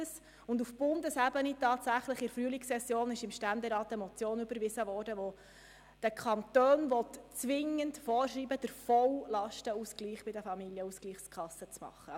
Auf Bundesebene wurde im Ständerat in der Frühlingssession eine Motion überwiesen, welche den Kantonen zwingend vorschreiben will, bei den Familienausgleichskassen den vollen Lastenausgleich vorzunehmen.